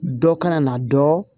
Dɔ kana na dɔ